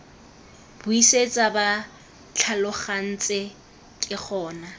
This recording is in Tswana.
buisitse ba tlhalogantse ke gona